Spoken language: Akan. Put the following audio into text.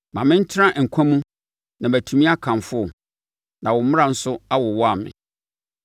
Ma me ntena nkwa mu na matumi akamfo wo, na wo mmara nso awowa me.